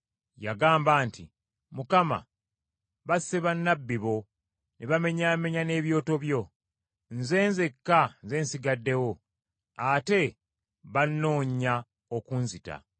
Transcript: Yagamba nti, “Mukama, basse bannabbi bo ne bamenyaamenya n’ebyoto byo. Nze nzekka nze nsigaddewo, ate bannoonya okunzita.”